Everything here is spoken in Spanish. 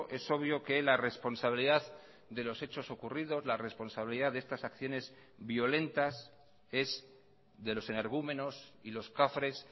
es obvio que la responsabilidad de los hechos ocurridos la responsabilidad de estas acciones violentas es de los energúmenos y los cafres